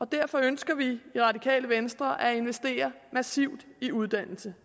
derfor ønsker vi i radikale venstre at investere massivt i uddannelse